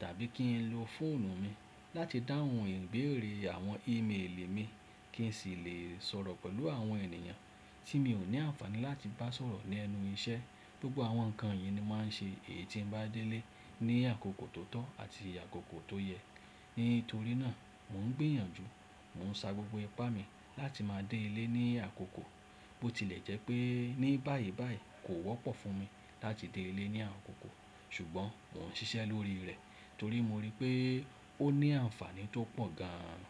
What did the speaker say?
tàbí kí n lo fóònù mi láti dáhùn ìbéèrè àwọn email mi kí n sì lè sọ̀rọ̀ pẹ̀lú àwọn ènìyàn tí mi ò ní àǹfàní láti bá sọ̀rọ̀ lẹ́nu iṣẹ́. Gbogbo àwọn nǹkan yìí ni màá ṣe kí n bá dé ilé ní àkókò tó tọ́ àti àkókò tó yẹ. Nítorí náà, mò ń gbìyànjú, mò ń sa gbogbo ipá mi láti máa dé ilé ní àkókò. Ó tilẹ̀ jẹ́ pé ní báyìí báyìí kò wọ́pọ̀ fún mi láti dé ilé ní àkókò ṣùgbọ́n mò ń ṣiṣẹ́ lórí rẹ̀ torí mo ríi pé ó ní àǹfàní tó pọ̀ gan-an.